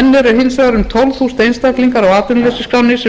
enn eru hins vegar um tólf þúsund einstaklingar á atvinnuleysisskránni sem